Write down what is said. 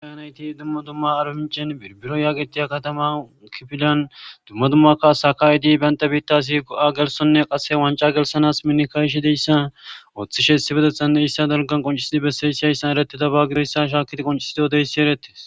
Nat dumma dumma arbaminch birbiro getetiya kifilan dumma dumma kasa ka'id bantas go'a gelthonw qase wanca gelthanas min ka'ishe diyaysa qase miniyaysa qoncid besiyays haysa dalga eretes.